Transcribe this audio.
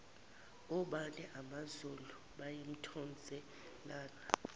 obani amazulu bayimthonselana